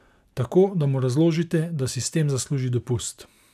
Tako, da mu razložite, da si s tem zasluži dopust?